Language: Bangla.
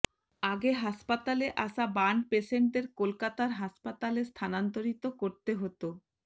আগে হাসপাতালে আসা বার্ন পেসেন্টদের কলকাতার হাসপাতালে স্থানান্তরিত করতে হত